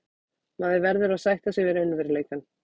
Maður verður að sætta sig við raunveruleikann.